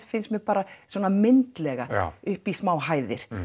finnst mér bara upp í smá hæðir